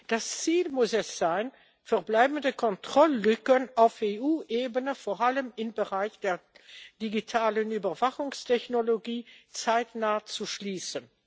Das Ziel muss es sein, verbleibende Kontrolllücken auf EU Ebene vor allem im Bereich der digitalen Überwachungstechnologie zeitnah zu schließen.